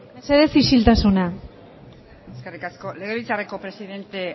mesedez isiltasuna eskerrik asko legebiltzarreko presidente